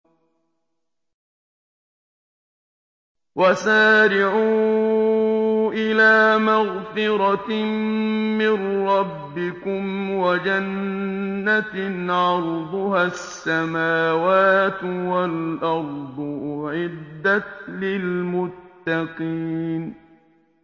۞ وَسَارِعُوا إِلَىٰ مَغْفِرَةٍ مِّن رَّبِّكُمْ وَجَنَّةٍ عَرْضُهَا السَّمَاوَاتُ وَالْأَرْضُ أُعِدَّتْ لِلْمُتَّقِينَ